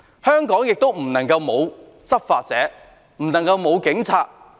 香港不能沒有執法者，不能沒有警察。